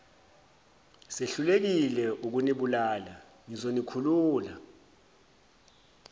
sehlulekile ukunibulala ngizonikhulula